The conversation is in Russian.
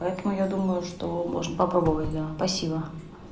поэтому я думаю что можно попробовать да спасибо